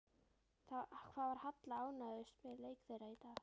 Hvað var Halla ánægðust með í leik þeirra í dag?